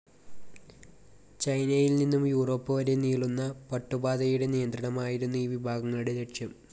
ചൈനയിൽ നിന്നും യുറോപ്പ് വരെ നീളുന്ന പട്ടുപാതയുടെ നിയന്ത്രണമായിരുന്നു ഈ വിഭാഗങ്ങളുടെ ലക്ഷ്യം.